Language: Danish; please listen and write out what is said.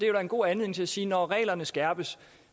er en god anledning til at sige når reglerne skærpes